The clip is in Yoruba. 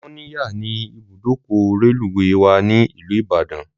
Mọ́níyà ni ibùdókọ̀ reluwé wà ní ìlú Ìbàdàn